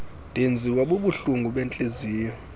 ndenziwa bubuhlungu bentliziyo